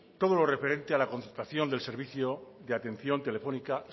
toda lo referente a la contratación del servicio de atención telefónica